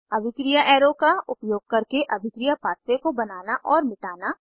अभिक्रिया एरो का उपयोग करके अभिक्रिया पाथवे को बनाना और मिटाना